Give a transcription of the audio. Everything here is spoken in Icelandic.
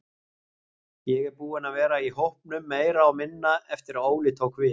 Ég er búinn að vera í hópnum meira og meira eftir að Óli tók við.